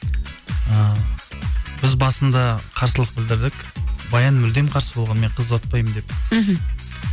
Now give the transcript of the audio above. ы біз басында қарсылық білдірдік баян мүлдем қарсы болған мен қыз ұзатпаймын деп мхм